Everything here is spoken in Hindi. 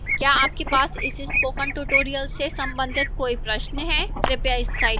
क्या आपके पास इस spoken tutorial से संबंधित कोई प्रश्न है कृपया इस साइट पर जाएं